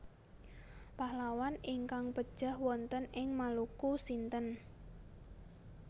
Pahlawan ingkang pejah wonten ing Maluku sinten